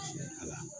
Ala